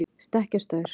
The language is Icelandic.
stekkjarstaur